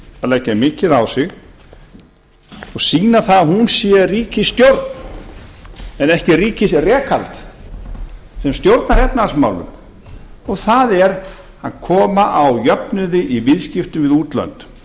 að leggja mikið á sig og sýna það að hún sé ríkisstjórn en ekki ríkisrekandi sem stjórnar efnahagsmálunum það er að koma á jöfnuði í viðskiptum við útlönd